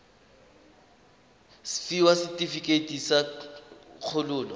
fiwa setefikeiti sa kgololo sa